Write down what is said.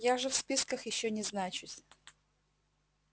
я же в списках ещё не значусь